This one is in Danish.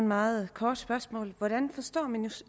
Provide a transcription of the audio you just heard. meget kort spørgsmål hvordan forstår